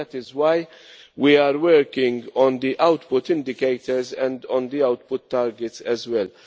That is why we are working on the output indicators and on the output targets as well.